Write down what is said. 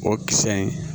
O kisɛ in